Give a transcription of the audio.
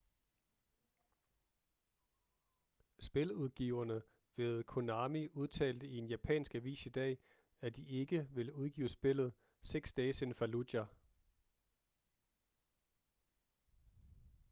spiludgiverne ved konami udtalte i en japansk avis i dag at de ikke vil udgive spillet six days in fallujah